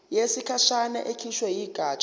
yesikhashana ekhishwe yigatsha